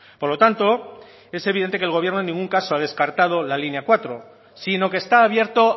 por lo tanto es evidente que el gobierno en ningún caso ha descartado la línea cuatro sino que está abierto